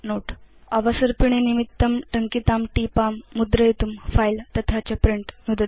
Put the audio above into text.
भवता भवत् अवसर्पिणी निमित्तं या टीपा टङ्किता तां मुद्रयितुं File तथा च प्रिंट नुदतु